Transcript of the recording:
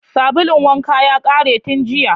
Sabulun wankan ya ƙare tun jiya